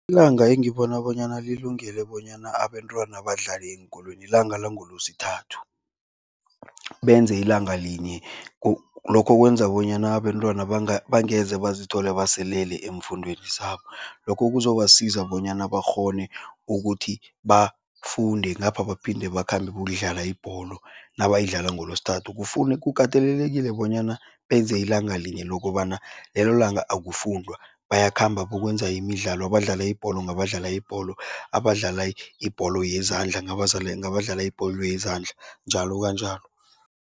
Ilanga engibona bonyana lilungele bonyana abentwana badlale eenkolweni ilanga langoLwesithathu, benze ilanga linye. Lokho kwenza bonyana abentwana bangeze bazithole baselele eemfundweni zabo. Lokho kuzobasiza bonyana bakghone ukuthi bafunde, ngapha baphinde bakhambe bayokudlala ibholo nabayidlala ngoLwesithathu. kukatelelekile bonyana benze ilanga linye lokobana lelo langa akufundwa, bayakhamba bokwenza imidlalo, abadlala ibholo ngabadlala ibholo, abadlala ibholo yezandla ngabadlala ibholo yezandla njalo kanjalo.